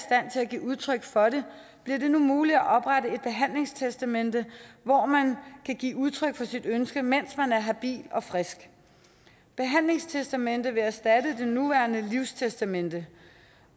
give udtryk for det bliver det nu muligt at oprette et behandlingstestamente hvori man kan give udtryk for sit ønske mens man er habil og frisk behandlingstestamentet vil erstatte det nuværende livstestamente